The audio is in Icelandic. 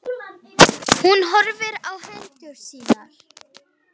Hún horfir á hendur sínar.